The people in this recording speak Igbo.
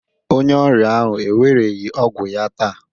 Onye ọrịa ahụ ewereghị ọgwụ ya taa